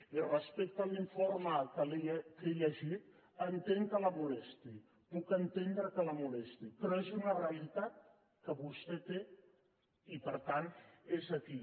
i respecte a l’informe que he llegit entenc que la molesti puc entendre que la molesti però és una realitat que vostè té i per tant és aquí